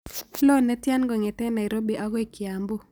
Loo netiana kong'eten nairobi agoi kiambu